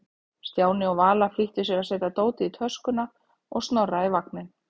Stjáni og Vala flýttu sér að setja dótið í töskuna og Snorra í vagninn.